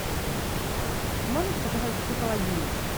можешь показать психологини